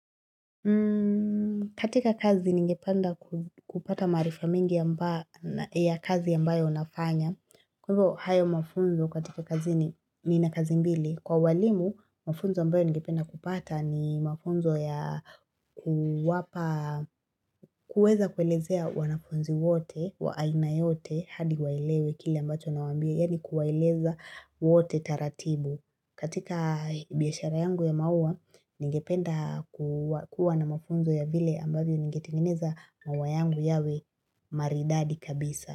Katika kazi ningependa kupata maarifa mingi ya kazi ambayo nafanya. Kwa hivyo hayo mafunzo katika kazi ni na kazi mbili. Kwa walimu mafunzo ambayo ngependa kupata ni mafunzo ya kuwapa kuweza kuelezea wanafunzi wote wa haina yote hadi waelewe kile ambacho nawaambia. Yani kuwaeleza wote taratibu. Katika biashara yangu ya maua, ningependa kuwa na mafunzo ya vile ambavyo ningetingeneza maua yangu yawe maridadi kabisa.